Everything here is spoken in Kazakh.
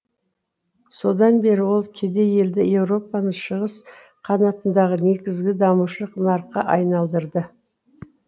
содан бері ол кедей елді еуропаның шығыс қанатындағы негізгі дамушы нарыққа айналдырды